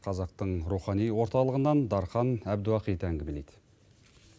қазақтың рухани орталығынан дархан абдуахит әңгімелейді